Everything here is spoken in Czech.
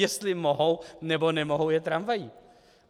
Jestli mohou, nebo nemohou jet tramvaji.